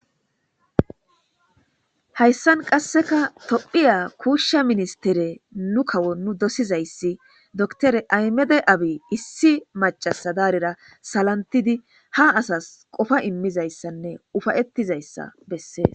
hayssan qasseka tophiya kuushsha ministere nu kawo nu dosizayssi doctore aymede abi issi macasa daarira salantidi ha asas qofa immizayssanne ufayettizayssa bessees